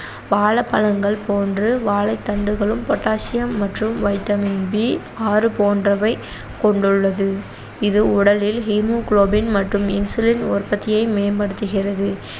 வாழைப்பழங்கள் போன்று வாழைத்தண்டுகளும் potassium மற்றும் vitamin B ஆறு போன்றவை கொண்டுள்ளது இது உடலில் haemoglobin மட்டும் insulin உற்பத்தியை மேம்படுத்துகிறது